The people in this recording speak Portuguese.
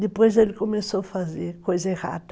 Depois ele começou a fazer coisa errada.